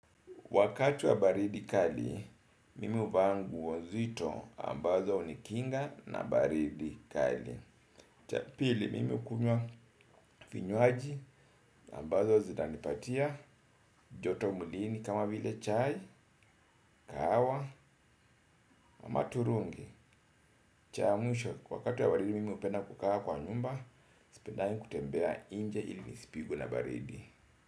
Wakati wa baridi kali, mimi huvaaa nguo nzito ambazo hunikinga na baridi kali. Cha pili, mimi kunywa vinywaji ambazo zinanipatia, joto mwilini kama vile chai, kahawa na maturungi. Cha mwisho, wakati wa baridi mimi hupenda kukaa kwa nyumba, sipendagi kutembea nje ili nisipigwe na baridi.